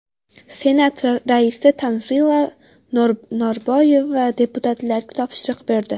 Senat raisi Tanzila Norboyeva deputatlarga topshiriq berdi.